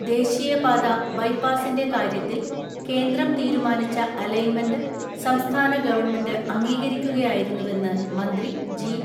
ദേശീയപാത ബൈപാസിന്റെ കാര്യത്തിൽ കേന്ദ്രം തീരുമാനിച്ച അലൈൻമെന്റ് സംസ്ഥാന ഗവൺമെന്റ് അംഗീകരിക്കുകയായിരുന്നുവെന്ന് മന്ത്രി ജി.